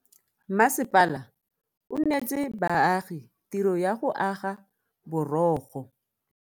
Masepala o neetse baagi tiro ya go aga borogo.